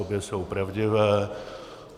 Obě jsou pravdivé.